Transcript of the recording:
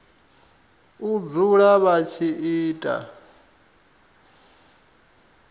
u dzula vha tshi ita